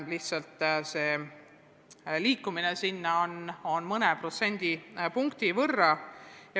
Lihtsalt liikumine selle poole on mõnevõrra aeglane.